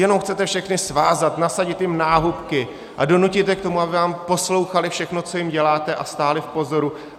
Jenom chcete všechny svázat, nasadit jim náhubky a donutit je k tomu, aby vám poslouchali, všechno co jim děláte a stáli v pozoru.